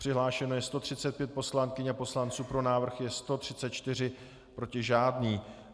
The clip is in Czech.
Přihlášeno je 135 poslankyň a poslanců, pro návrh je 134, proti žádný.